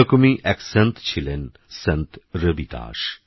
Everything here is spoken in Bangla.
এরকমইএকসন্তছিলেন সন্তরবিদাস